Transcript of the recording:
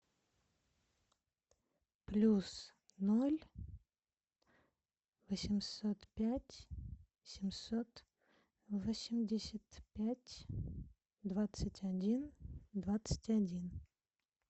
плюс ноль восемьсот пять семьсот восемьдесят пять двадцать один двадцать один